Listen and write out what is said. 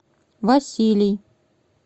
василий